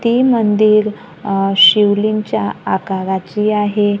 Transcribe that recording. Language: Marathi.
ती मंदिर अ शिवलिंगच्या आकाराची आहे.